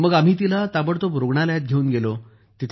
तर आम्ही तिला ताबडतोब रूग्णालयात घेऊन गेलो